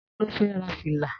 Ta ló fẹ́ ra fìlà?